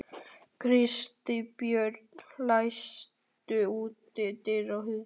Kristbjörg, læstu útidyrunum.